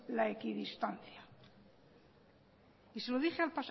la equidistancia y se lo dije